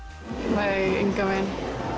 nei engan veginn